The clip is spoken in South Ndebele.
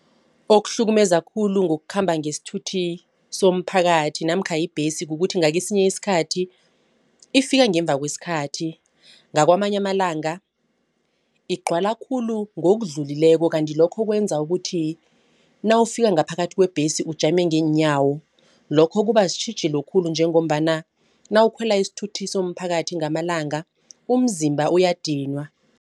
Okuhlukumeza khulu ngokukhamba ngesithuthi somphakathi namkha ibhesi kukuthi ngakesinye isikhathi ifika ngemva kwesikhathi nakwamanye amalanga igcwala khulu ngokudlulileko. Kanti lokho kwenza ukuthi nawufika ngaphakathi kwebhesi ujame ngeenyawo lokho kuba sitjhijilo khulu njengombana nawukhwela isithuthi somphakathi ngamalanga umzimba uyadinwa.